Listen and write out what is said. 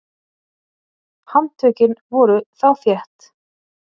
Handtökin voru þá þétt.